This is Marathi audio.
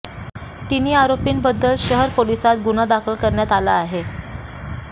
तिन्ही आरोपींविरुद्ध शहर पोलिसांत गुन्हा दाखल करण्यात आला आहे